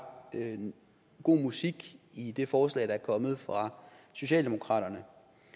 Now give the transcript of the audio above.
god musik i det forslag der er kommet fra socialdemokraterne